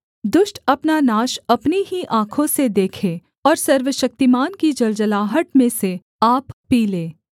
दुष्ट अपना नाश अपनी ही आँखों से देखे और सर्वशक्तिमान की जलजलाहट में से आप पी ले